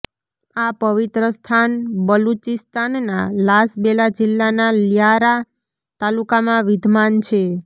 આ પવિત્ર સ્થાન બલુચીસ્તાનના લાસબેલા જિલ્લાના લ્યારા તાલુકામાં વિધમાન છે